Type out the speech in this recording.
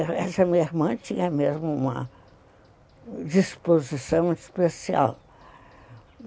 Essa minha irmã tinha mesmo uma disposição especial.